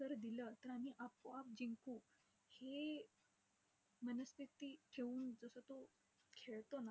जर दिलं, तर आम्ही आपोआप जिंकू, हे मनस्थिती ठेऊन जसं तो खेळतो न